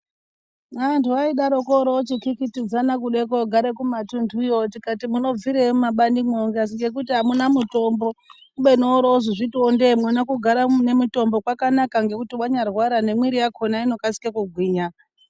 Anthu aidaroko oroopitipidzana kide koogara kumatunthuyo tikati munobvirei mumabaniyo zvikazi ngekuti amuna mutombo kubeni wozoozvitiwo ndee mwona kugara mune mitombo kwakanaka ngekuti wanyarwara nemwiri yakhona inokasika kugwinya.